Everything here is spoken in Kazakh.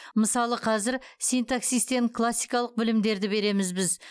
мысалы қазір синтаксистен классикалық білімдерді береміз біз